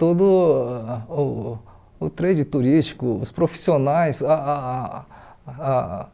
todo uh o trade turístico, os profissionais ah ah ah